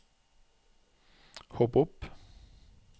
hopp opp